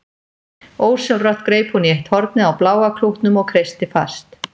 Ósjálfrátt greip hún í eitt hornið á bláa klútnum og kreisti fast.